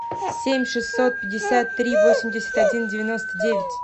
семь шестьсот пятьдесят три восемьдесят один девяносто девять